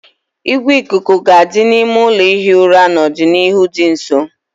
Igwe ikuku ga-adị n'ime ụlọ ihi ụra n'ọdịnihu dị nso